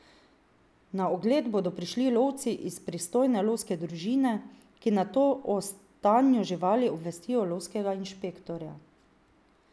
Na ogled bodo prišli lovci iz pristojne lovske družine, ki nato o stanju živali obvestijo lovskega inšpektorja.